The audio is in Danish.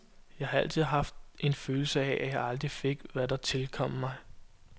Jeg har altid haft en følelse af, at jeg aldrig fik, hvad der tilkom mig.